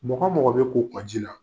Mɔgɔ mɔgɔ bɛ ko kƆji la